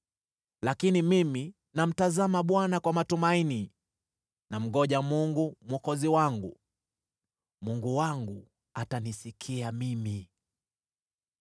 Lakini mimi, namtazama Bwana kwa matumaini, namngoja Mungu Mwokozi wangu; Mungu wangu atanisikia mimi.